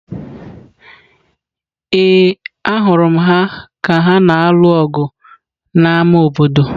Ee, ahụrụ m ha ka ha na-alụ ọgụ n'ámá obodo.